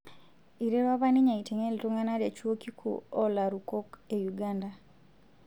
Eiterua apa ninye aiteng'e iltung'ana te chuo kikuu oolarukok e Uganda